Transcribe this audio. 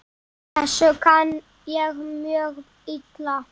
Þessu kann ég mjög illa.